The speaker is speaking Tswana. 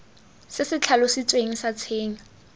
se se tlhalositsweng sa tshenyo